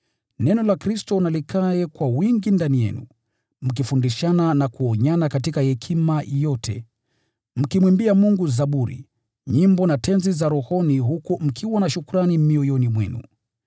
Neno la Kristo na likae kwa wingi ndani yenu, mkifundishana na kuonyana katika hekima yote, mkimwimbia Mungu zaburi, nyimbo na tenzi za rohoni, huku mkiwa na shukrani mioyoni mwenu.